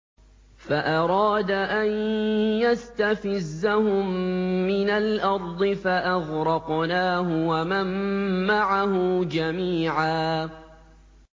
فَأَرَادَ أَن يَسْتَفِزَّهُم مِّنَ الْأَرْضِ فَأَغْرَقْنَاهُ وَمَن مَّعَهُ جَمِيعًا